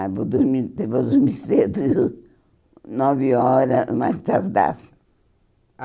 Ah, vou dormir vou dormir cedo, nove horas, mais tarde dá.